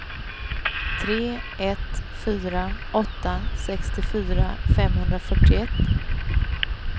tre ett fyra åtta sextiofyra femhundrafyrtioett